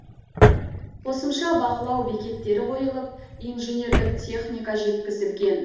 қосымша бақылау бекеттері қойылып инженерлік техника жеткізілген